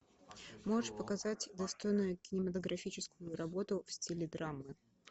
можешь показать достойную кинематографическую работу в стиле драма